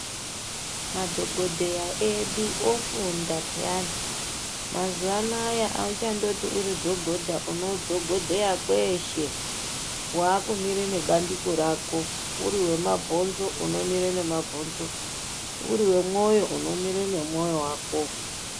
Madhogodheya edu ofunda pheyani. Mazuva anayi hauchandoti uridhogodha, uridhogodheya kweshe, wakumire nebandiko rako. Uri wemabhonzo unomire nemabhonzo, uri wemwoyo, unomire nemwoyo wako.